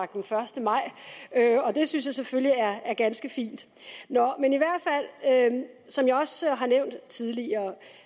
den første maj og det synes jeg selvfølgelig er ganske fint nå men som jeg også har nævnt tidligere og